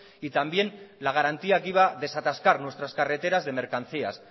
y también la garantía que iba a desatascar nuestras carreteras de mercancías